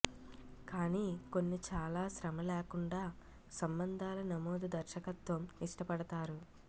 కానీ కొన్ని చాలా శ్రమ లేకుండా సంబంధాల నమోదు దర్శకత్వం ఇష్టపడతారు